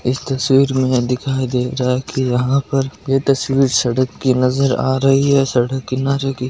इस तस्वीर में दिखाई दे रहा है कि यहाँ पर कोई तस्वीर सड़क के नजर आ रही है सड़क के किनारे की--